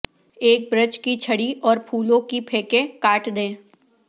ایک برچ کی چھڑی اور پھولوں کی پھینکیں کاٹ دیں